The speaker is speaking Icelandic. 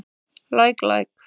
Læk læk.